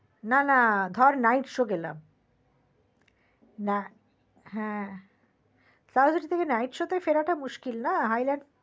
না না ধর night show গেলাম না হা তাহলেতো ওই night show তে ফেরাটা মুশকিল না hyland park